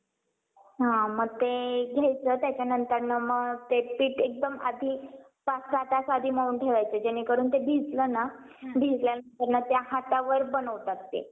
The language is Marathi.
कायद्याने चुकीचे मानले जाईल आणि त्यासाठी तुम्हाला दंड ही भरावे लागेल वाहन वेळ म्हणजे केवळ वाहनच नाहीतर त्यासोबत third party देखील असते त्यामुळे वाहनामध्ये कोणते व्यक्ती